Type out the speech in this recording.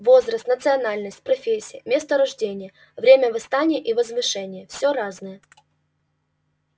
возраст национальность профессия место рождения время восстания и возвышения всё разное